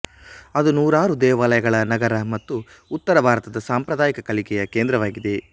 ಅದು ನೂರಾರು ದೇವಾಲಯಗಳ ನಗರ ಮತ್ತು ಉತ್ತರ ಭಾರತದ ಸಾಂಪ್ರದಾಯಿಕ ಕಲಿಕೆಯ ಕೇಂದ್ರವಾಗಿದೆ